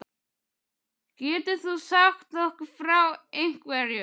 Getur þú sagt okkur frá einhverjum?